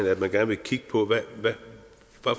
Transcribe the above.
at man gerne vil kigge på hvad